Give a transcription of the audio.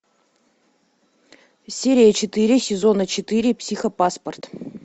серия четыре сезона четыре психопаспорт